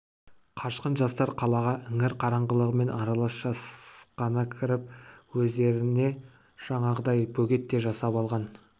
қашқын жастар қалаға іңір қараңғылығымен аралас жасқана кіріп өздеріне жаңағыдай бөгет те жасап алған